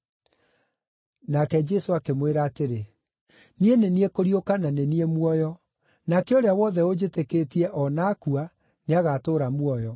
Nake Jesũ akĩmwĩra atĩrĩ, “Niĩ nĩ niĩ kũriũka na nĩ niĩ muoyo. Nake ũrĩa wothe ũnjĩtĩkĩtie, o na aakua, nĩagatũũra muoyo;